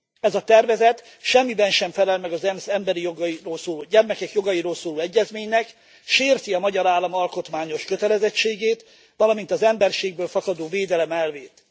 Ez a tervezet semmiben sem felel meg az ENSZ gyermekek jogairól szóló egyezményének, sérti a magyar állam alkotmányos kötelezettségét, valamint az emberségből fakadó védelem elvét.